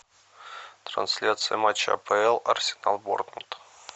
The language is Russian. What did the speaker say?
трансляция матча апл арсенал борнмут